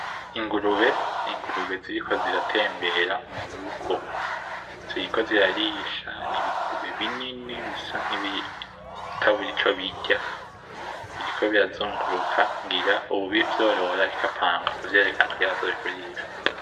Ingurube , ingurube ziriko ziratembera murugo , ziriko zirarisha ,nibigurube binini bisa nibitabuze ico birya biriko birazunguruka , ngira uwuvyorora ariko apanga kuvyerekana kugira azobigurishe .